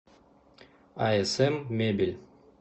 асм мебель